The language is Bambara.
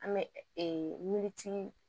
An bɛ min t'i